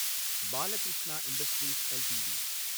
Balakrishna Industries LTD